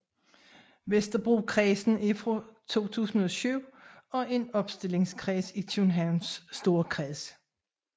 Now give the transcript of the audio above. Vesterbrokredsen er fra 2007 en opstillingskreds i Københavns Storkreds